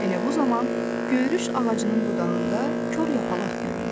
Elə bu zaman göyürüş ağacının budağında kor yapaq göründü.